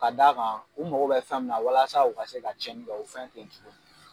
Ka d'a kan u mago bɛ fɛn min na walasa u ka se ka cɛnni kɛ u fɛn tɛ ye tuguni.